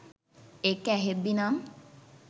ඒක ඇහෙද්දිනම්.